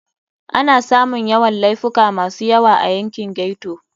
Ana samun Yawan Laifuka masu yawa a yankin ghetto.